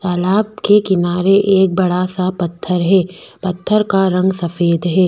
तालाब के किनारे एक बड़ा सा पत्थर है पत्थर का रंग सफ़ेद है।